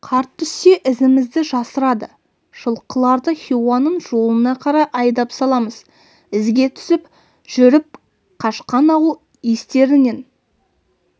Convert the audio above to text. қар түссе ізімізді жасырады жылқыларды хиуаның жолына қарай айдап саламыз ізге түсіп жүріп қашқан ауыл естерінен